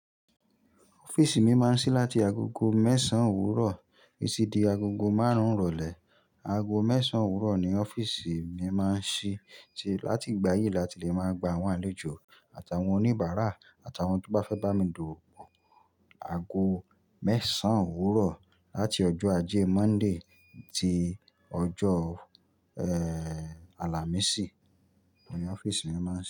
Ọ́fíìsì mi máa ń ṣí láti agogo mẹ́sàn-án òwúrọ̀ títí di agogo márùn-ún ìrọ̀lẹ́. Ago mẹ́sàn-án òwúrọ̀ ni ọ́fíìsì mi máa ń ṣí láti ìgbà yìí láti lè máa gba àwọn àlejò àtàwọn oníbàárà àtàwọn tó bá fẹ́ bá mi dòdò. Ago mẹ́sàn-án òwúrọ̀ láti ọjọ́ ajé Monday tí ọjọ́, eh, Alàmísì ni ọ́fíìsì mi máa ń ṣí.